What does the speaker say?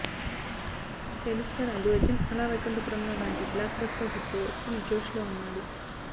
stylish star Allu Arjun Ala Vaikunthapurramuloo లాంటి blockbuster hit తో full జోష్ లో ఉన్నాడు